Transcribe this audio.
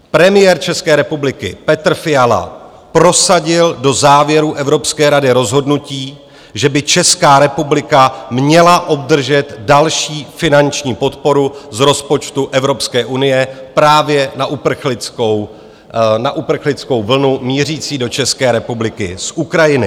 Premiér České republiky Petr Fiala prosadil do závěrů Evropské rady rozhodnutí, že by Česká republika měla obdržet další finanční podporu z rozpočtu Evropské unie právě na uprchlickou vlnu mířící do České republiky z Ukrajiny.